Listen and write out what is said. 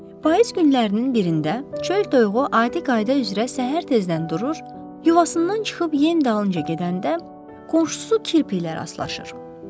Payız günlərinin birində çöl toyuğu adi qayda üzrə səhər tezdən durur, yuvasından çıxıb yem dalınca gedəndə qonşusu kirpi ilə rastlaşır.